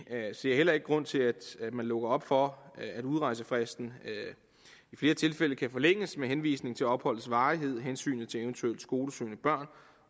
ser heller ikke nogen grund til at man lukker op for at udrejsefristen i flere tilfælde kan forlænges med henvisning til opholdets varighed hensynet til eventuelle skolesøgende børn